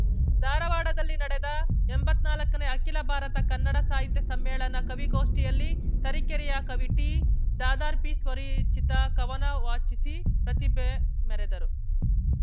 ಧಾರವಾಡದಲ್ಲಿ ನಡೆದ ಎಂಬತ್ನಾಲ್ಕನೇ ಅಖಿಲ ಭಾರತ ಕನ್ನಡ ಸಾಹಿತ್ಯ ಸಮ್ಮೇಳನ ಕವಿಗೋಷ್ಠಿಯಲ್ಲಿ ತರೀಕೆರೆಯ ಕವಿ ಟಿದಾದಾರ್ಪೀ ಸ್ವರಿಚಿತ ಕವನ ವಾಚಿಸಿ ಪ್ರತಿಭೆ ಮೆರೆದರು